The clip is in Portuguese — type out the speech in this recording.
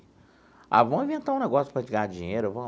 Ah, vamos inventar um negócio para a gente ganhar dinheiro, vamos.